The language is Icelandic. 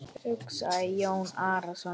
hugsaði Jón Arason.